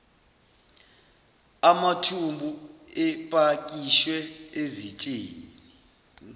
amathumbu epakishwe ezitsheni